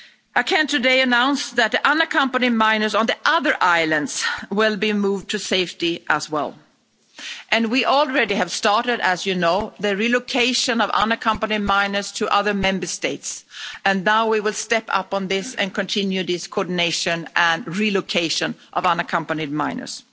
I can today announce that the unaccompanied minors on the other islands will be moved to safety as well, and we have already started, as you know, the relocation of unaccompanied minors to other Member States and now we will step up on this and continue this coordination and relocation of unaccompanied minors.